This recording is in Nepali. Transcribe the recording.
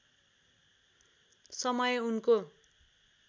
समय उनको